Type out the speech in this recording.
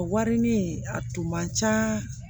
A warini a tun man ca